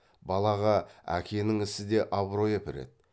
балаға әкенің ісі де абырой әпереді